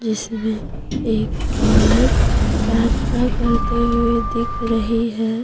इसमे एक औरत प्रार्थना करते हुए दिख रही है।